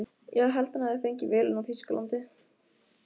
Ég held að hann hafi fengið vélina í Þýskalandi.